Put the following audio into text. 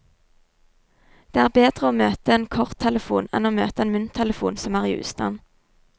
Det er bedre å møte en korttelefon enn å møte en mynttelefon som er i ustand.